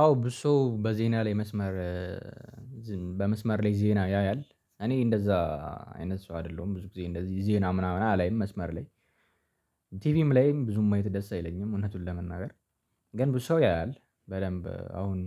አዎ ብዙ ሰው በዜና ላይ መስመር በመስመር ላይ ዜና ያያል። እኔ እንደዛ አይነት ሰው አይደለሁም ብዙ ጊዜ እንደዚህ ዜና ምናምን አላይም። መስመር ላይ ቲቪም ላይም ብዙም ማየት ደስ አይለኝም። እውነቱን ለመናገር ግን ብዙ ሰው ያያል በደንብ አሁን